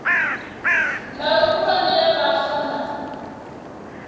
mbalo khulwane ya vhaswa na